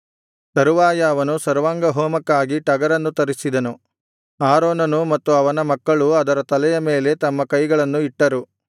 ತರುವಾಯ ಅವನು ಸರ್ವಾಂಗಹೋಮಕ್ಕಾಗಿ ಟಗರನ್ನು ತರಿಸಿದನು ಆರೋನನೂ ಮತ್ತು ಅವನ ಮಕ್ಕಳೂ ಅದರ ತಲೆಯ ಮೇಲೆ ತಮ್ಮ ಕೈಗಳನ್ನು ಇಟ್ಟರು